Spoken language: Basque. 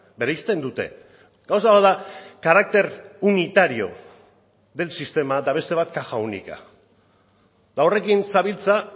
bereizten dute gauza bat da carácter unitario del sistema eta beste bat caja única eta horrekin zabiltza